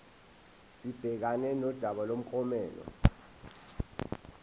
sibhekane nodaba lomklomelo